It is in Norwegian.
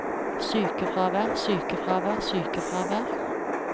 sykefravær sykefravær sykefravær